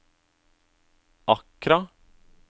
Accra